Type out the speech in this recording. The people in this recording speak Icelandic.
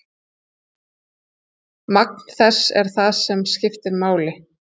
Magn þess er það sem skiptir máli.